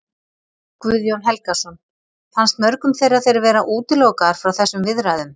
Guðjón Helgason: Fannst mörgum þeirra þeir vera útilokaðir frá þessum viðræðum?